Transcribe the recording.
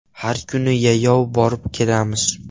Har kuni yayov borib-kelamiz.